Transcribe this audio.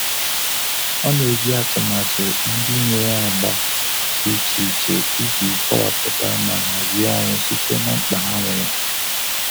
Ọ na-eji atụmatụ ndị nwere agba dị iche iche iji kọwapụta ma hazie ọrụ site na mkpa ha nwere.